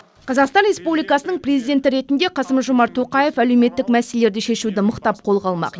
қазақстан республикасының президенті ретінде қасым жомарт тоқаев әлеуметтік мәселелерді шешуді мықтап қолға алмақ